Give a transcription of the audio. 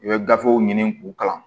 I bɛ gafew ɲini k'u kalan